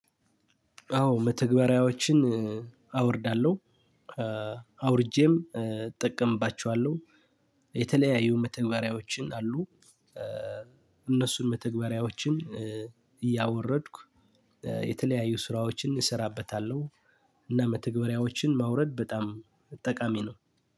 አዎ መተግበሪያዎችን አወርዳለሁ። አውርጄም እጠቀምባቸዋለሁ የተለያዩ መተግበሪያዎችን አሉ። እነሱን መተግበሪያዎችን እያወረድኩ የተለያዩ ስራዎችን እሰራበታለሁ እና መተግበሪያዎችን ማውረድ በጣም ጠቃሚ ነው።